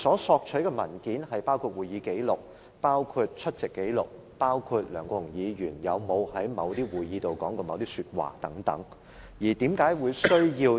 索取的文件包括會議紀錄、出席紀錄，以及有關梁國雄議員有否在某些會議上說過某些話的文件等。